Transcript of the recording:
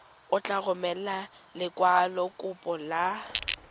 o tla romela lekwalokopo la